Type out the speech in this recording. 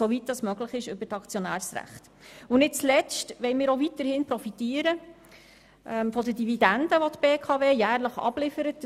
Viertens wollen wir auch weiterhin von den Dividenden profitieren, welche die BKW jährlich abliefert.